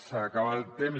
s’acaba el temps